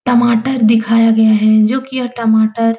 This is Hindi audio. टमाटर दिखाया गया है जोकि यह टमाटर --